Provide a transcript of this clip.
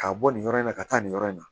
K'a bɔ nin yɔrɔ in na ka taa nin yɔrɔ in na